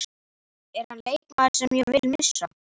Er hann leikmaður sem ég vil missa?